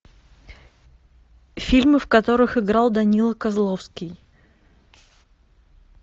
фильмы в которых играл данила козловский